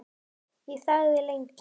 Ég þagði lengi.